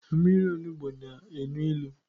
Mmiri onugbu na enu ilu